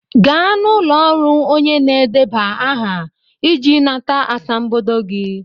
Gaa n'ụlọ ọrụ onye na-edeba aha iji nata asambodo gị!